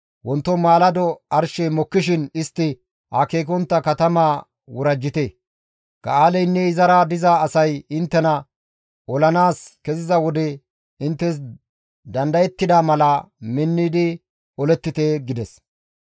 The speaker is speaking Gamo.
Wonto maalado arshey mokkishin istti akeekontta katamaa worajjite; Ga7aaleynne izara diza asay inttena olanaas keziza wode inttes dandayettida mala minnidi olettite» gides.